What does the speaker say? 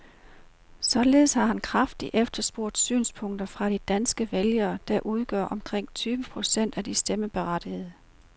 Således har han kraftigt efterlyst synspunkter fra de danske vælgere, der udgør omkring tyve procent af de stemmeberettigede.